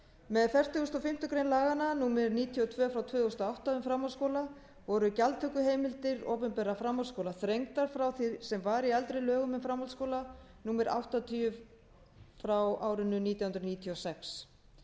með fertugustu og fimmtu grein laga númer níutíu og tvö tvö þúsund og átta um framhaldsskóla voru gjaldtökuheimildir opinberra framhaldsskóla þrengdar frá því sem var í eldri lögum um framhaldsskóla númer áttatíu nítján hundruð níutíu og sex